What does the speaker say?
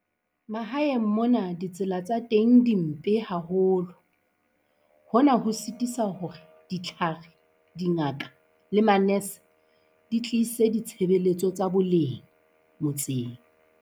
Mahaeng mona ditsela tsa teng di mpe haholo. Hona ho sitisa hore ditlhare dingaka le manese, di tlise ditshebeletso tsa boleng motseng.